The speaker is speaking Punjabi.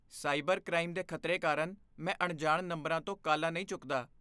ਸਾਈਬਰ ਕ੍ਰਾਈਮ ਦੇ ਖਤਰੇ ਕਾਰਨ ਮੈਂ ਅਣਜਾਣ ਨੰਬਰਾਂ ਤੋਂ ਕਾਲਾਂ ਨਹੀਂ ਚੁੱਕਦਾ।